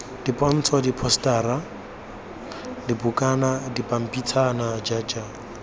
dipontsho diphosetara dibukana dipampitshana jj